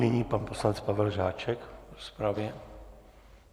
Nyní pan poslanec Pavel Žáček v rozpravě.